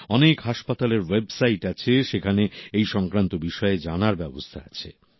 অনেক হাসপাতালের ওয়েবসাইট আছে সেখানে এই সংক্রান্ত বিষয়ে জানার ব্যবস্থা আছে